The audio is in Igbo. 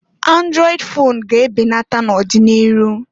Andrọịd fon ga-e benata na'ọdị n'iru.